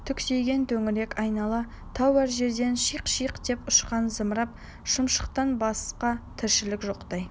түксиген төңірек айнала тау әр жерден шиқ-шиқ деп ұшқан зымыран шымшықтан басқа тіршілік жоқтай